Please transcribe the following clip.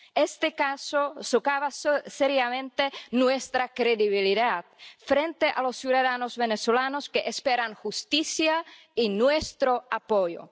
Este caso socava seriamente nuestra credibilidad frente a los ciudadanos venezolanos que esperan justicia y nuestro apoyo.